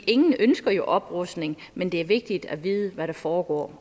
ingen ønsker jo oprustning men det er vigtigt at vide hvad der foregår